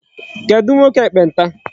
Kedụ nwoke ekpenta?